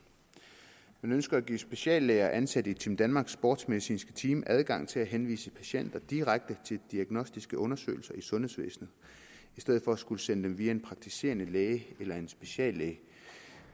man ønsker at give speciallæger ansat i team danmarks sportsmedicinske team adgang til at henvise patienter direkte til diagnostiske undersøgelser i sundhedsvæsenet i stedet for at skulle sende dem via en praktiserende læge eller en speciallæge